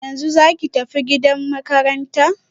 Yanzu zaki tafi gidan makaranta?